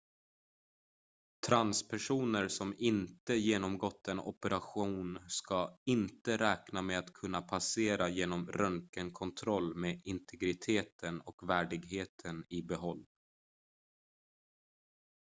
transpersoner som inte genomgått en operation ska inte räkna med att kunna passera genom röntgenkontrollen med integriteten och värdigheten i behåll